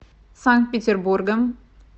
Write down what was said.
санкт петербургом